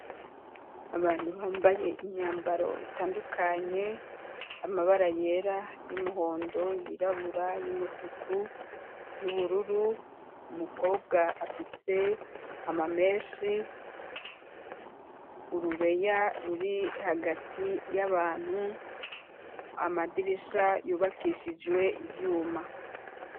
Abantu bambaye imyambaro itandukanye amabara yera y'umuhondo yirabura y'umutuku y'ubururu umukobwa afise ama meshi urubeya ruri hagati y'abantu ama amadirisha yubakishijwe ivyuma.